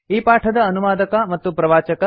ಈ ಪಾಠದ ಅನುವಾದಕ ಮತ್ತು ಪ್ರವಾಚಕ ಐ